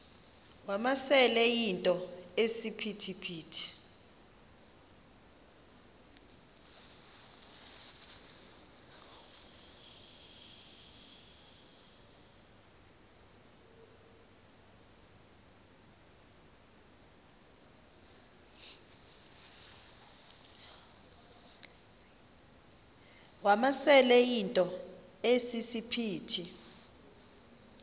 wamasele yinto esisiphithi